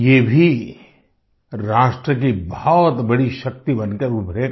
ये भी राष्ट्र की बहुत बड़ी शक्ति बनकर उभरेगा